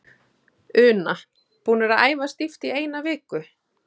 Una: Búnir að æfa stíft í eina viku?